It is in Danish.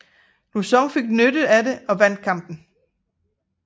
Lauzon fik nyttet af det og vandt kampen